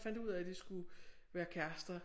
Fandt ud af de skulle være kærester